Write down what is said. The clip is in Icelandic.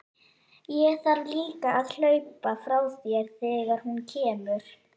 Ég þarf líka að hlaupa frá þér þegar hún kemur.